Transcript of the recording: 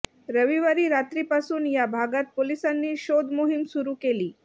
रविवारी रात्रीपासून या भागात पोलिसांनी शोधमोहिम सुरू केली